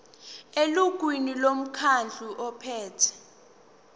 elungwini lomkhandlu ophethe